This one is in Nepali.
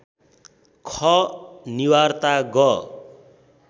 ख निवार्ता ग